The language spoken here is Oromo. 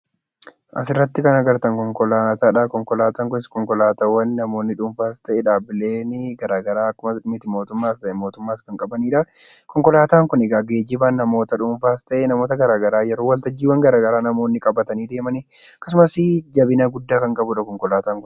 Asirratti kan agartan kun konkolaataadha. Konkolaataan kunis kan namoonni dhuunfaa ta'ee dhaabbileen garaagaraa mootummaas ta'ee mit-mootumaas qabanidha. Konkolaataan kun egaa geejjiba namoota dhuunfaas ta'ee namoota garaagaraa yeroo wal tajjiiwwan garaagaraa namoonni qaban qabatanii deeman akkasumas jabina guddaa kan qabudha konkolaataan kun.